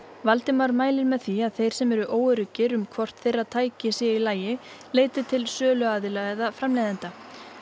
Valdimar mælir með því að þeir sem eru óöruggir um hvort þeirra tæki séu í lagi leiti til söluaðila eða framleiðenda